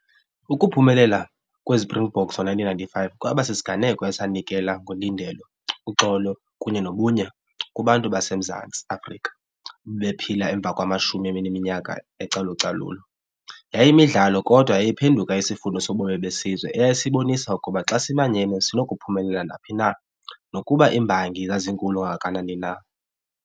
Ukuphumelela kweSprinkboks ngo-nineteen ninety-five kwaba sisiganeko esanikela ngolindelo uxolo kunye nobunye kubantu baseMzantsi Afrika bephila emva kwamashumi ebeneminyaka ecalucalula. Yayiyimidlalo kodwa eyayiphenduka isifundo sobomi besizwe eyayisibonisa ukuba xa simanyene sinokuphumelela naphi na nokuba iimbangi zazinkulu kangakanani na.